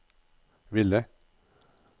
ville